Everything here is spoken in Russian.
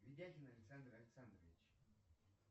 видяхин александр александрович